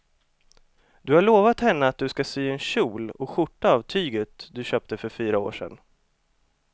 Du har lovat henne att du ska sy en kjol och skjorta av tyget du köpte för fyra år sedan.